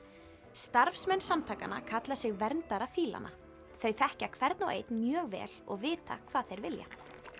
starfsmenn samtakanna kalla sig verndara þau þekkja hvern og einn mjög vel og vita hvað þeir vilja